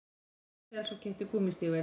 Axels og keypti gúmmístígvél.